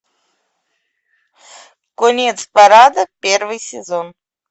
конец парада первый сезон